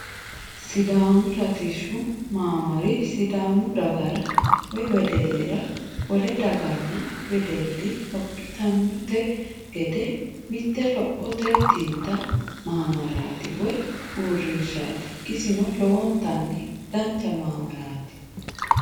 Sidaamu latishshu maamari sidaamu dagara woy wedellira wole daganna wedelli lophitunte gede mitte lophote xinta maamaraati woy uurtinshaati isino lowontanni dancha maamaraati.